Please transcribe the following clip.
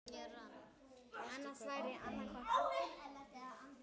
Hestöfl krauma, hjarta rótt.